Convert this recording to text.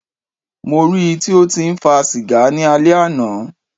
Mó rí í tí o tí ń fa sìgá ni alẹ́ àná.